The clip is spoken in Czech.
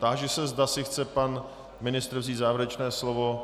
Táži se, zda si chce pan ministr vzít závěrečné slovo.